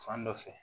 Fan dɔ fɛ